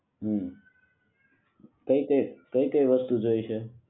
હુ કઈ કઈ કઈ કઈ વસ્તુ જોઈશે?